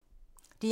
DR1